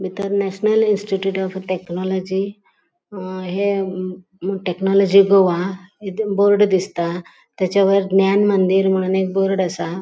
बितर National Institute of Technology अ हे टेक्नॉलजी गोवा हे ते बोर्ड दिसता त्याचा वयर ज्ञान मंदिर म्हणून एक बोर्ड असा.